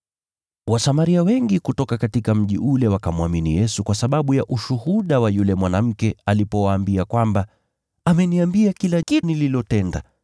Wasamaria wengi katika mji ule wakamwamini Yesu kwa sababu ya ushuhuda wa yule mwanamke alipowaambia kwamba, “Ameniambia kila kitu nilichotenda.”